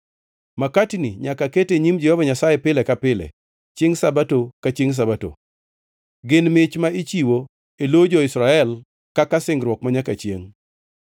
Makatini nyaka kete e nyim Jehova Nyasaye pile ka pile chiengʼ Sabato ka chiengʼ Sabato. Gin mich ma ichiwo e lo jo-Israel kaka singruok manyaka chiengʼ.